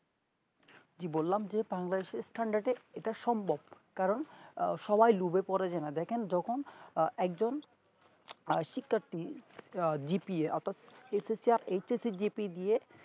বললাম যে Bangladesh এর স্থান তা কে এইটা সম্ভব কারণ সবাই লুভে পর যে না দেখেন যখন যে আহ একজন শিক্ষাত্রী GPA ওতো GP